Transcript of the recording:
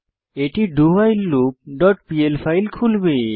এটি dowhileloopপিএল ফাইল খুলবে